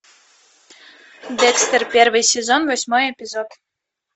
декстер первый сезон восьмой эпизод